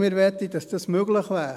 Wir möchten, dass dies möglich wäre.